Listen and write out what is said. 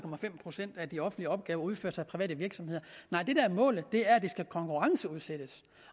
procent af de offentlige opgaver udføres af private virksomheder nej det der er målet er at de skal konkurrenceudsættes